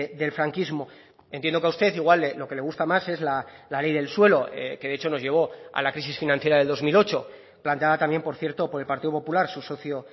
del franquismo entiendo que a usted igual lo que le gusta más es la ley del suelo que de hecho nos llevó a la crisis financiera de dos mil ocho planteada también por cierto por el partido popular su socio